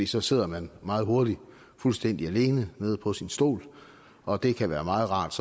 så sidder man meget hurtigt fuldstændig alene nede på sin stol og det kan være meget rart